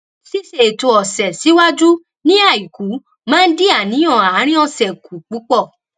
ṣíṣe ètò ọsẹ sìwájú ní àìkú máa n dín àníyàn àárín ọsẹ kù púpọ